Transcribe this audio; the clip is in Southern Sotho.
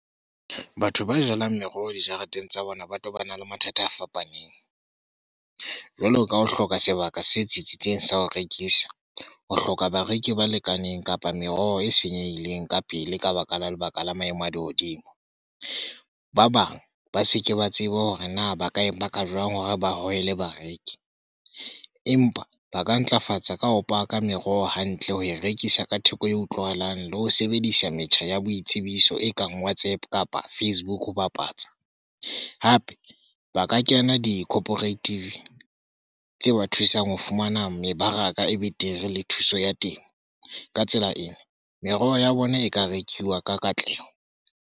Batho ba jalang meroho dijareteng tsa bona ba tobana le mathata a fapaneng, jwalo ka ho hloka sebaka se tsitsitseng sa ho rekisa, ho hloka bareki ba lekaneng kapa meroho e senyehileng ka pele ka baka la lebaka la maemo a lehodimo. Ba bang ba seke ba tseba hore na ba ka e paka jwang hore ba hohele bareki, empa ba ka ntlafatsa ka ho paka meroho hantle ho e rekisa ka theko e utlwahalang le ho sebedisa metjha ya boitsebiso e kang WhatsApp kapa Facebook ho bapatsa hape ba ka kena di cooperative tse ba thusang ho fumana mebaraka e betere le thuso ya teng. Ka tsela ena meroho ya bona e ka rekiwa ka katleho.